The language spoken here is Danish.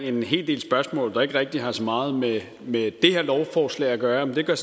en hel del spørgsmål der ikke rigtig har så meget med det her lovforslag at gøre men det gør